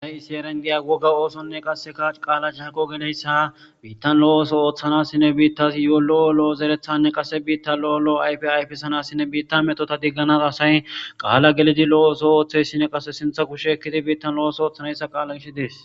Aeyisiyeren giya wogga oosonne qasseka qaala shago geneyssa biittan lo7o ooso ooththanasinne biittasi yo7o lo7o lo7o zerethanne qase biitta lo7o lo7o ayfe ayfisanassinne biitta metota digganasa asay qaala gelidi lo7o ooso ooththeyssine qasse sintha kushe ekkidi biittan lo7os ooththanayssa qaala gish dees